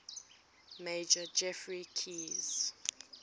major geoffrey keyes